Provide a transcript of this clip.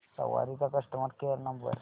सवारी चा customer care number